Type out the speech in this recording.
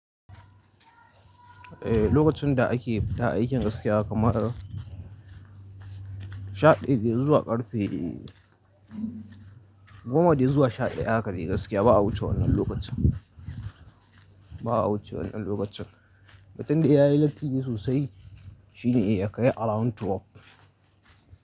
Eh, lokacin da ake fita aikin gaskiya kamar sha ɗaya dai zuwa ƙarfe goma dai zuwa sha ɗaya haka de gaskiya ba a wuce wannan lokacin. Ba a wuce wannan lokacin. Mutin da ya yi latti sosai shine ya kai around twelve.